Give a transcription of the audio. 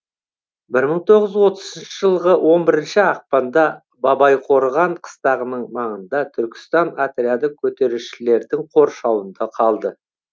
бір мың тоғыз жүз отызыншы жылғы он бірінші ақпанда бабайқорған қыстағының маңында түркістан отряды көтерілісшілердің қоршауында қалды